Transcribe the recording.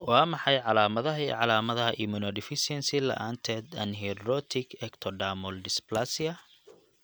Waa maxay calaamadaha iyo calaamadaha Immunodeficiency la'aanteed anhidrotic ectodermal dysplasia?